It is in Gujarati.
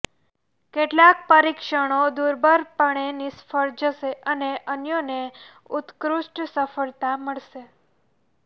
કેટલાક પરીક્ષણો દુર્બળપણે નિષ્ફળ જશે અને અન્યોને ઉત્કૃષ્ટ સફળતા મળશે